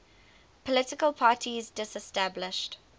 political parties disestablished